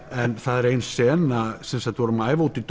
en það er ein sena við vorum að æfa úti